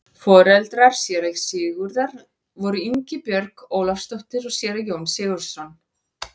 Foreldrar séra Sigurðar voru Ingibjörg Ólafsdóttir og séra Jón Sigurðsson.